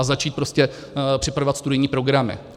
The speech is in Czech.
A začít prostě připravovat studijní programy.